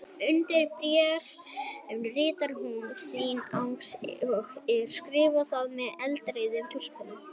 Undir bréfið ritar hún: Þín Agnes og skrifar það með eldrauðum tússpenna.